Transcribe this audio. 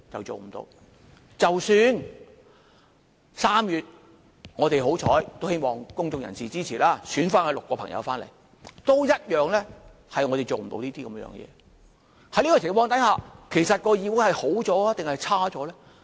即使3月我們幸運——希望公眾人士支持——選出6位民主派議員返回議會，我們一樣也做不到這件事。